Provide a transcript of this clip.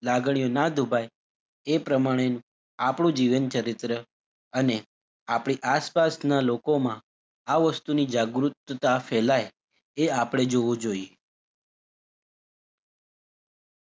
લાગણીઓ નાં દુભાય એ પ્રમાણે આપડું જીવનચરિત્ર અને આપડી આસપાસના લોકોમાં આ વસ્તુની જાગૃતતા ફેલાય એ આપળે જોવું જોઈએ.